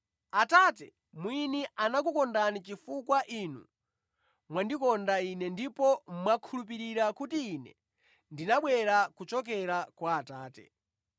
Atate mwini anakukondani chifukwa inu mwandikonda Ine ndipo mwakhulupirira kuti Ine ndinabwera kuchokera kwa Atate.